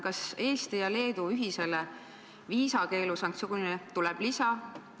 Kas Eesti ja Leedu ühisele viisakeelu sanktsioonile tuleb lisa?